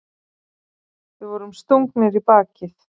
Við vorum stungnir í bakið.